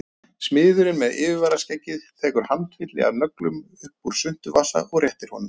Smiðurinn með yfirskeggið tekur handfylli af nöglum upp úr svuntuvasa og réttir honum